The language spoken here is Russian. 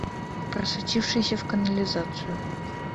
просочившийся в канализацию